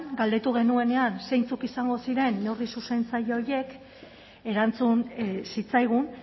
galdetu genuenean zeintzuk izango ziren neurri zuzentzaile horiek erantzun zitzaigun